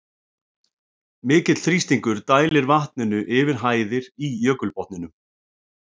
Mikill þrýstingur dælir vatninu yfir hæðir í jökulbotninum.